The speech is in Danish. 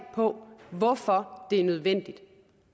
på hvorfor det er nødvendigt